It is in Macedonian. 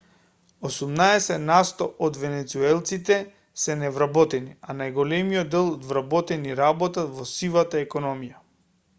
осумнаесет насто од венецуелците се невработени а најголемиот дел од вработените работат во сивата економија